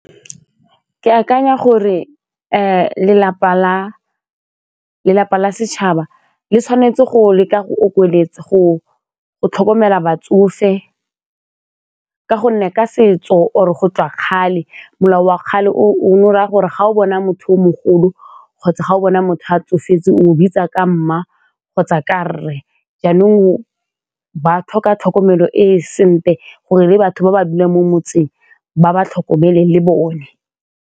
Ke akanya gore lelapa la setšhaba le tshwanetse go leka go okeletsa go tlhokomela batsofe ka gonne ka setso or-re go tswa kgale molao wa kgale o ne o raya gore ga o bona motho o mogolo kgotsa ga o bona motho a tsofetseng o bitsa ka mma kgotsa ka rre jaanong ba tlhoka tlhokomelo e e sentle gore le batho ba ba buang mo motseng ba ba tlhokomele le bone.